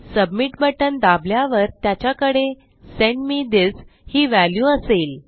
submit बटण दाबल्यावर त्याच्याकडे सेंड मे थिस ही व्हॅल्यू असेल